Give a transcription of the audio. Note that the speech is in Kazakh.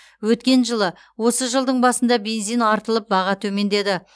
өткен жылы осы жылдың басында бензин артылып баға төмендеді